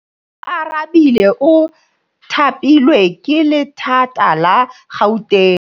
Oarabile o thapilwe ke lephata la Gauteng.